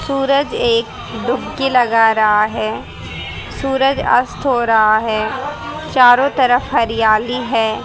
सूरज एक डुबकी लगा रहा है सूरज अस्त हो रहा है चारों तरफ हरियाली है।